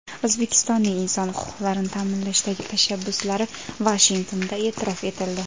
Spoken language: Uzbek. O‘zbekistonning inson huquqlarini ta’minlashdagi tashabbuslari Vashingtonda e’tirof etildi.